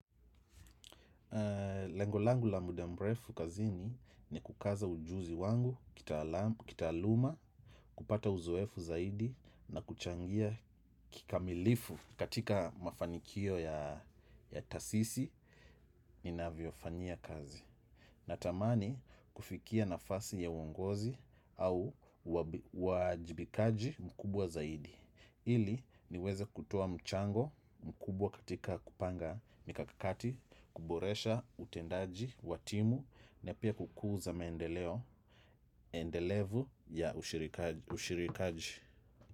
Lengo langu la muda mrefu kazini, ni kukaza ujuzi wangu, kitaalamu, kupata uzoefu zaidi na kuchangia kikamilifu katika mafanikio ya taasisi ninazofania kazi. Natamani kufikia nafasi ya uongozi au uwajibikaji mkubwa zaidi. Ili niweze kutoa mchango mkubwa katika kupanga mikakakati, kuboresha utendaji wa timu, na pia kukuza mendeleo ya ushirikaji.